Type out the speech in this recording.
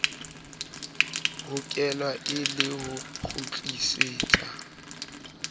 hokelwa e le ho kgutlisetsa